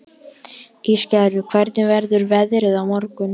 Ísgerður, hvernig verður veðrið á morgun?